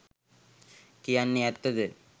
කියන්නෙ ඇත්ත ද?